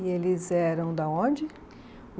E eles eram da onde?